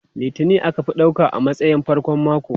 Litini aka fi ɗauka a matsayin farkon mako.